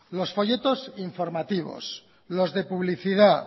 los folletos informativos los de publicidad